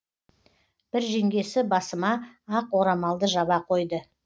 бір жеңгесі басыма ақ орамалды жаба қойды